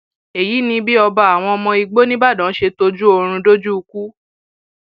èyí ni bí ọba àwọn ọmọ igbó ńìbàdàn ṣe tọjú oorun dójú ikú